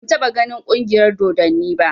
Ban taɓa ganin ƙungiyar dodanni ba